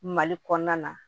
Mali kɔnɔna na